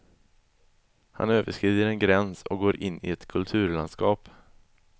Han överskrider en gräns och går in i ett kulturlandskap.